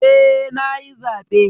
Eh nayi zabe.